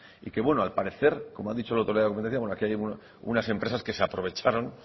y bueno al parecer como han dicho el otro día la aquí hubo unas empresas que se aprovecharon